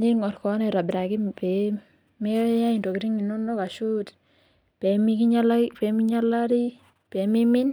ning'orr kewon aitobiraki pee meyai intokitin inono ashuu pee mimin.